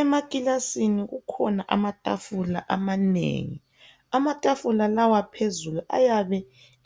Emakilasini kukhona amatafula amanengi. Amatafula lawa phezulu ayabe